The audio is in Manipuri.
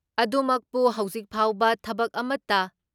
ꯑꯗꯨꯃꯛꯄꯨ ꯍꯧꯖꯤꯛ ꯐꯥꯎꯕ ꯊꯕꯛ ꯑꯃꯠꯇ